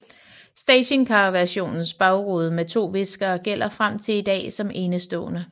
Stationcarversionens bagrude med to viskere gælder frem til i dag som enestående